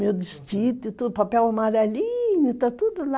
Meu desquite, papel amarelinho, está tudo lá.